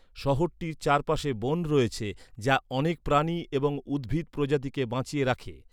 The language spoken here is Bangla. শহরটির চারপাশে বন রয়েছে যা অনেক প্রাণী এবং উদ্ভিদ প্রজাতিকে বাঁচিয়ে রাখে।